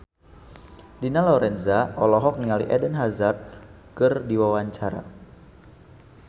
Dina Lorenza olohok ningali Eden Hazard keur diwawancara